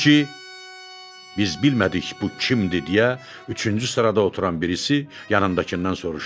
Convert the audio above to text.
Halbuki biz bilmədik bu kimdir deyə üçüncü sırada oturan birisi yanındakından soruşdu.